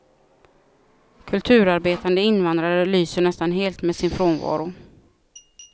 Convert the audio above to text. Kulturarbetande invandrare lyser nästan helt med sin frånvaro.